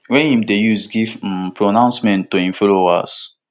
wey im dey use give um pronouncements to im followers